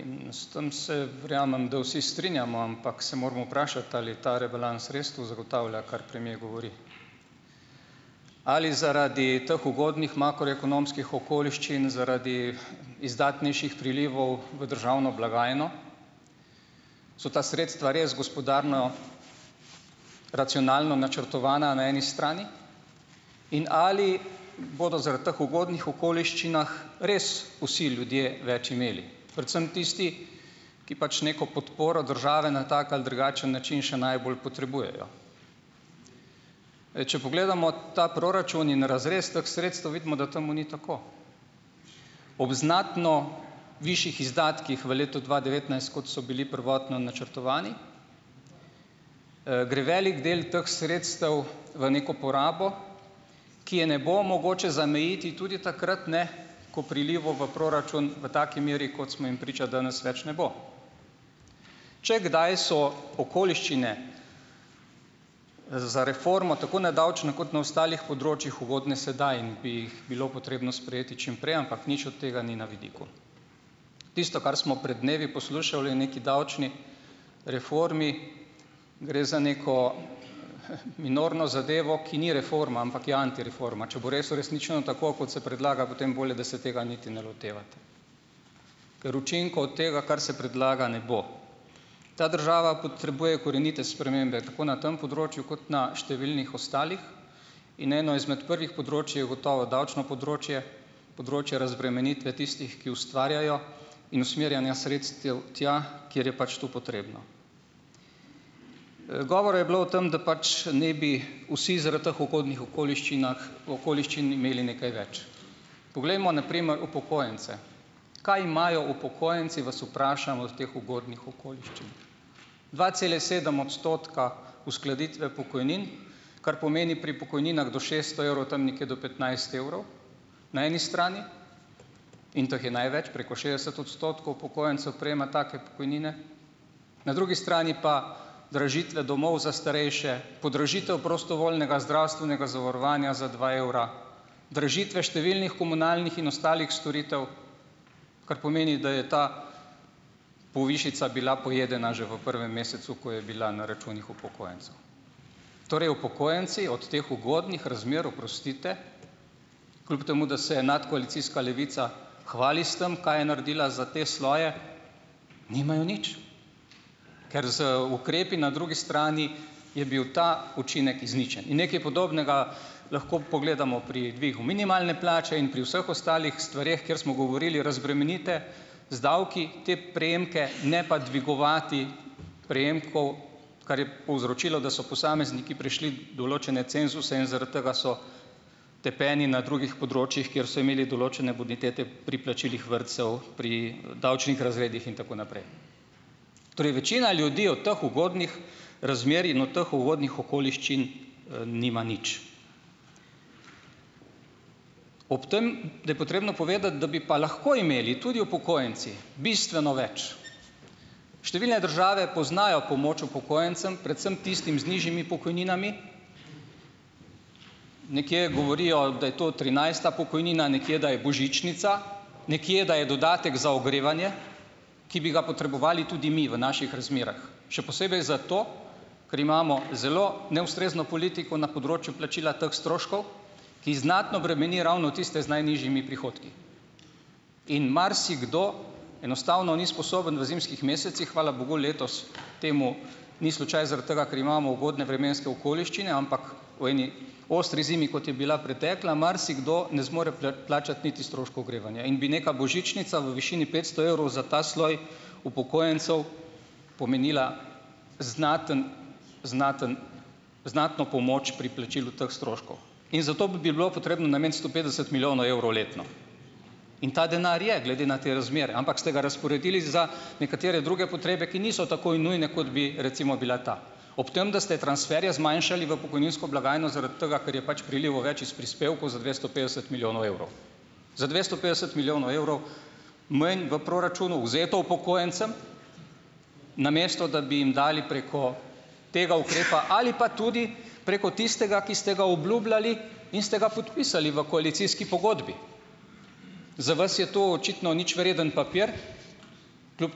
in s tem se, verjamem, da vsi strinjamo, ampak se moramo vprašati, ali je ta rebalans res to zagotavlja, kar premier govori, ali zaradi teh ugodnih makroekonomskih okoliščin zaradi izdatnejših prilivov v državno blagajno so ta sredstva res gospodarno racionalno načrtovana na eni strani in ali bodo zaradi teh ugodnih okoliščin res vsi ljudje več imeli, predvsem tisti, ki pač neko podporo države na tak ali drugačen način še najbolj potrebujejo, ej, če pogledamo ta proračun in razrez teh sredstev, vidimo, da temu ni tako, ob znatno višjih izdatkih v letu dva devetnajst, kot so bili prvotno načrtovani, gre velik del teh sredstev v neko porabo, ki je ne bo mogoče zamejiti tudi takrat ne, ko prilivov v proračun v taki meri, kot smo jim priča danes, več ne bo, če kdaj so okoliščine za reformo tako na davčnem kot na ostalih področjih ugodne, sedaj in bi jih bilo potrebno sprejeti čimprej, ampak nič od tega ni na vidiku, tisto, kar smo pred dnevi poslušali o neki davčni reformi, gre za neko minorno zadevo, ki ni reforma, ampak je antireforma, če bo res uresničeno, tako kot se predlaga, potem bolje, da se tega niti ne loteva, ker učinkov od tega, kar se predlaga, ne bo, ta država potrebuje korenite spremembe tako na tem področju kot na številnih ostalih in eno izmed prvih področij je gotovo davčno področje, področje razbremenitve tistih, ki ustvarjajo, in usmerjanja sredstev tja, kjer je pač to potrebno, govora je bilo o tem, da pač ne bi vsi zaradi teh ugodnih okoliščinah, okoliščin imeli nekaj več, poglejmo na primer upokojence, kaj imajo upokojenci, vas vprašam, od teh ugodnih okoliščin, dva cela sedem odstotka uskladitve pokojnin, kar pomeni pri pokojninah do šeststo evrov tam nekje do petnajst evrov na eni strani, in teh je največ, preko šestdeset odstotkov upokojencev prejema take pokojnine, na drugi strani pa dražitve domov za starejše, podražitev prostovoljnega zdravstvenega zavarovanja za dva evra, dražitve številnih komunalnih in ostalih storitev, kar pomeni, da je ta povišica bila pojedena že v prvem mesecu, ko je bila na računih upokojencev, torej upokojenci od teh ugodnih razmer, oprostite, kljub temu da se je nadkoalicijska Levica hvali s tem, kaj je naredila za te svoje, nimajo nič, ker z ukrepi na drugi strani je bil ta učinek izničen in nekaj podobnega, lahko pogledamo pri dvigu minimalne plače in pri vseh ostalih stvareh, kjer smo govorili, razbremenite z davki te prejemke, ne pa dvigovati prejemkov, kar je povzročilo, da so posamezniki prešli določene cenzuse, in zaradi tega so tepeni na drugih področjih, kjer so imeli določene bonitete pri plačilih vrtcev, pri davčnih razredih in tako naprej, torej večina ljudi od teh ugodnih razmer in od teh ugodnih okoliščin nima nič, ob tem, da je potrebno povedati, da bi pa lahko imeli tudi upokojenci bistveno več, številne države poznajo pomoč upokojencem, predvsem tistim z nižjimi pokojninami, nekje govorijo, da je to trinajsta pokojnina, nekje da je božičnica, nekje da je dodatek za ogrevanje, ki bi ga potrebovali tudi mi v naših razmerah, še posebej zato, ker imamo zelo neustrezno politiko na področju plačila teh stroškov, ki znatno bremeni ravno tiste z najnižjimi prihodki in marsikdo enostavno ni sposoben v zimskih mesecih, hvala bogu, letos temu ni slučaj zaradi tega, ker imamo ugodne vremenske okoliščine, ampak ostri zimi, kot je bila pretekla, marsikdo ne zmore plačati niti stroškov ogrevanja in bi neka božičnica v višini petsto evrov za ta sloj upokojencev pomenila znaten, znaten, znatno pomoč pri plačilu teh stroškov in zato bi bilo potrebno nameniti sto petdeset milijonov evrov letno in ta denar je glede na te razmere, ampak ste ga razporedili za nekatere druge potrebe, ki niso tako nujne, kot bi recimo bila ta, ob tem, da ste transferje zmanjšali v pokojninsko blagajno zaradi tega, ker je pač prilivov več iz prispevkov za dvesto petdeset milijonov evrov, za dvesto petdeset milijonov evrov manj v proračunu vzeto upokojencem, namesto da bi jim dali preko tega ukrepa ali pa tudi preko tistega, ki ste ga obljubljali in ste ga podpisali v koalicijski pogodbi, za vas je to očitno ničvreden papir, kljub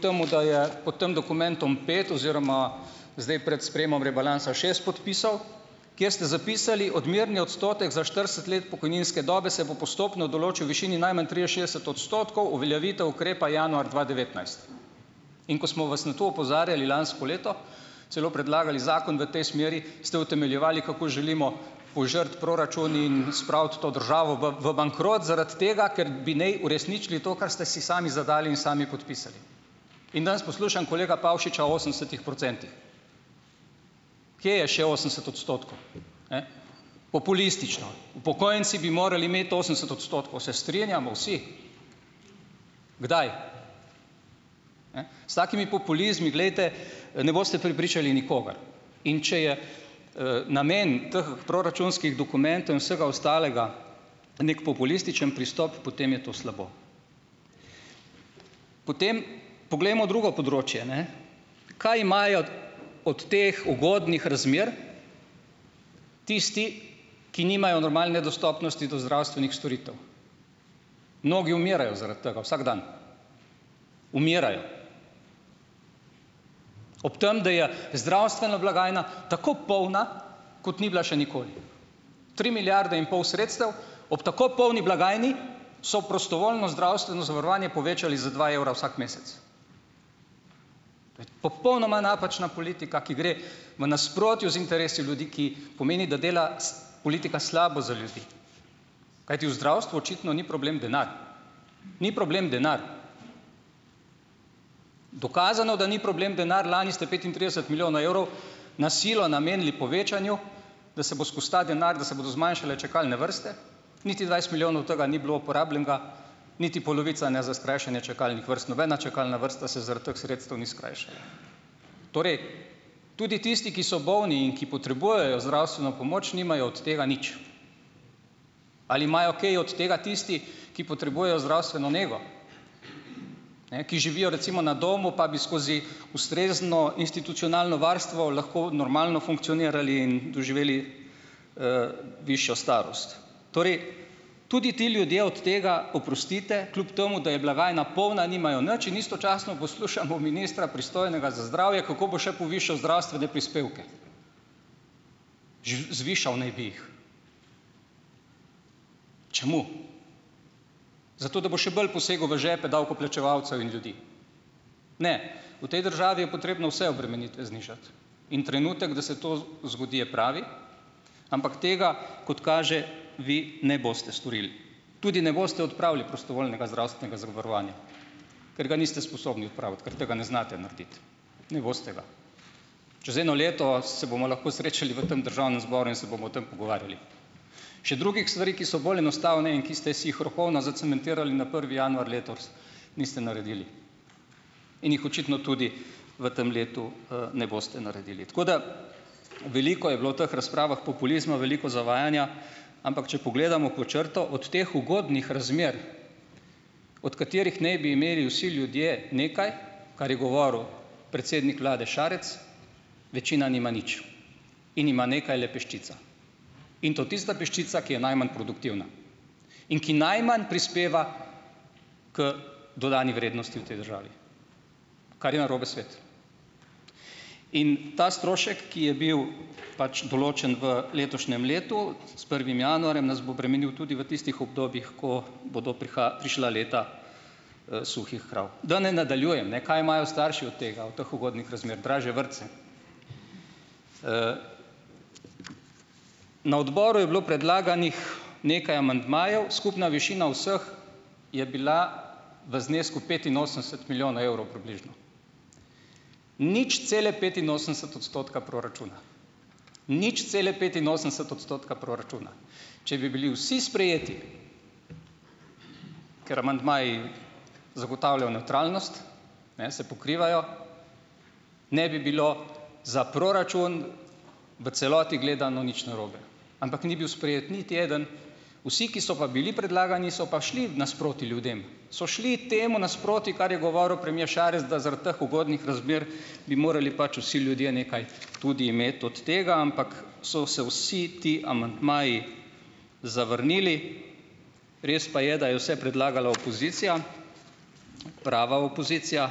temu da je v tem dokumentu pet oziroma zdaj pred sprejemom rebalansa šest podpisov, kjer ste zapisali, odmerni odstotek za štirideset let pokojninske dobe se bo postopno določal v višini najmanj triinšestdeset odstotkov uveljavitev ukrepa januar dva devetnajst, in ko smo vas na to opozarjali lansko leto, celo predlagali zakon v tej smeri, ste utemeljevali, kako želimo požreti proračun in spraviti to državo v v bankrot zaradi tega, ker bi naj uresničili to, kar ste si sami zadali in sami podpisali, in danes kolega Pavšiča o osemdesetih procentih, kje je še osemdeset odstotkov, ne, populistično, upokojenci bi morali imeti osemdeset odstotkov, se strinjamo vsi, kdaj, e, s takimi populizmi, glejte, ne boste prepričali nikogar, in če je, namen teh proračunskih dokumentov in vsega ostalega neki populističen pristop, potem je to slabo, potem poglejmo drugo področje, ne, kaj imajo od teh ugodnih razmer tisti, ki nimajo normalne dostopnosti do zdravstvenih storitev, mnogi umirajo zaradi tega vsak dan, umirajo, ob tem, da je zdravstvena blagajna tako polna, kot ni bila še nikoli, tri milijarde in pol sredstev ob tako polni blagajni so prostovoljno zdravstveno zavarovanje povečali za dva evra vsak mesec, popolnoma napačna politika, ki gre v nasprotju z interesi ljudi, ki pomeni, da dela s politika slabo za ljudi, kajti v zdravstvu očitno ni problem denar, ni problem denar, dokazano, da ni problem denar, lani ste petintrideset milijonov evrov na silo namenili povečanju, da se bo skozi ta denar, da se bodo zmanjšale čakalne vrste, niti dvajset milijonov od tega ni bilo uporabljenega, niti polovica, ne za skrajšanje čakalnih vrst, nobena čakalna vrsta se zaradi teh sredstev ni skrajšala, torej tudi tisti, ki so bolni in ki potrebujejo zdravstveno pomoč, nimajo od tega nič, ali imajo kaj od tega tisti, ki potrebujejo zdravstveno nego, ne, ki živijo recimo na domu, pa bi skozi ustrezno institucionalno varstvo lahko normalno funkcionirali in doživeli, višjo starost, torej tudi ti ljudje od tega, oprostite, kljub temu da je blagajna polna, nimajo nič in istočasno poslušamo ministra, pristojnega za zdravje, kako bo še povišal zdravstvene prispevke, zvišal naj bi jih, čemu, zato da bo še bolj posegel v žepe davkoplačevalcev in ljudi, ne, v tej državi je potrebno vse obremenitve znižati, in trenutek, da se to zgodi, je pravi, ampak tega, kot kaže, vi ne boste storili, tudi ne boste odpravili prostovoljnega zdravstvenega zavarovanja, ker ga niste sposobni odpraviti, ker tega ne znate narediti, ne boste ga, čez eno leto se bomo lahko srečali v tem državnem zboru, in se bomo o tem pogovarjali, še drugih stvari, ki so bolj enostavne in ki ste si jih rokovno zacementirali na prvi januar letos, niste naredili in jih očitno tudi v tem letu, ne boste naredili, tako da veliko je bilo teh razpravah populizma, veliko zavajanja, ampak če pogledamo pod črto od teh ugodnih razmer, od katerih naj bi imeli vsi ljudje nekaj, kar je govoril predsednik vlade Šarec, večina nima nič in ima nekaj le peščica in to tista peščica, ki je najmanj produktivna in ki najmanj prispeva k dodani vrednosti v tej državi, kar je narobe svet, in ta strošek, ki je bil pač določen v letošnjem letu s prvim januarjem, nas bo bremenil tudi v tistih obdobjih, ko bodo prišla leta suhih krav, da ne nadaljujem, ne, kaj imajo starši od tega, od teh ugodnih razmer, dražje vrtce, na odboru je bilo predlaganih nekaj amandmajev, skupna višina vseh je bila v znesku petinosemdeset milijonov evrov približno, nič cele petinosemdeset odstotka proračuna, nič cele petinosemdeset odstotka proračuna, če bi bili vsi sprejeti, ker amandmaji zagotavljajo nevtralnost, ne se pokrivajo, ne bi bilo za proračun v celoti gledano nič narobe, ampak ni bil sprejet niti eden, vsi, ki so pa bili predlagani, so pa šli nasproti ljudem so šli temu nasproti, kar je govoril premier Šarec, da zaradi teh ugodnih razmer bi morali pač vsi ljudje nekaj tudi imeti od tega, ampak so se vsi ti amandmaji zavrnili, res pa je, da je vse predlagala opozicija, prava opozicija,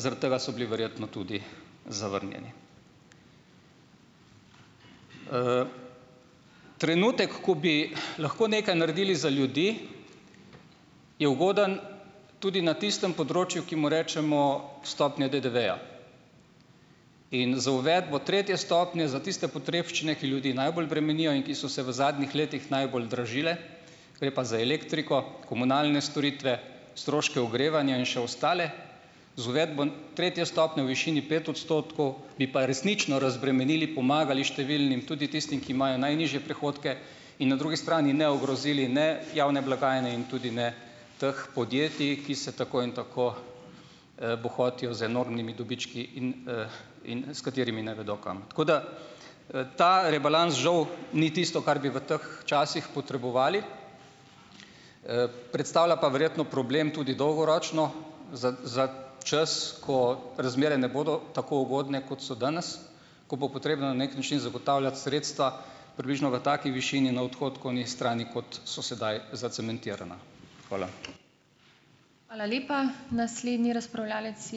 zaradi tega so bili verjetno tudi zavrnjeni, trenutek, ko bi lahko nekaj naredili za ljudi, je ugoden tudi na tistem področju, ki mu rečemo stopnja DDV-ja, in z uvedbo tretje stopnje za tiste potrebščine, ki ljudi najbolj bremenijo in ki so se v zadnjih letih najbolj dražile, gre pa za elektriko, komunalne storitve, stroške ogrevanja in še ostale, z uvedbo tretje stopnje v višini pet odstotkov bi pa resnično razbremenili, pomagali številnim, tudi tistim, ki imajo najnižje prihodke, in na drugi strani ne ogrozili, ne, javne blagajne in tudi ne teh podjetij, ki se tako in tako bohotijo z enormnimi dobički in, in s katerimi ne vedo kam, tako da, ta rebalans žal ni tisto, kar bi v teh časih potrebovali, predstavlja pa verjetno problem tudi dolgoročno čas, ko razmere ne bodo tako ugodne, kot so danes, ko bo potrebno na neki način zagotavljati sredstva približno v taki višini na odhodkovni strani, kot so sedaj zacementirana. Hvala. Hvala lepa, naslednji razpravljavec je ...